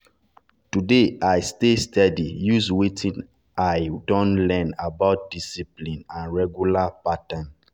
today i stay steady use wetin i wetin i don learn about discipline and regular pattern.